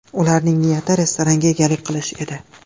Ularning niyati restoranga egalik qilish edi.